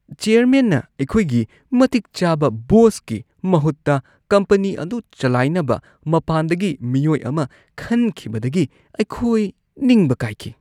ꯆꯤꯌꯔꯃꯦꯟꯅ ꯑꯩꯈꯣꯏꯒꯤ ꯃꯇꯤꯛ ꯆꯥꯕ ꯕꯣꯁꯀꯤ ꯃꯍꯨꯠꯇ ꯀꯝꯄꯅꯤ ꯑꯗꯨ ꯆꯂꯥꯏꯅꯕ ꯃꯄꯥꯟꯗꯒꯤ ꯃꯤꯑꯣꯏ ꯑꯃ ꯈꯟꯈꯤꯕꯗꯒꯤ ꯑꯩꯈꯣꯏ ꯅꯤꯡꯕ ꯀꯥꯏꯈꯤ ꯫